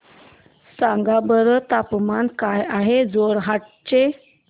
सांगा बरं तापमान काय आहे जोरहाट चे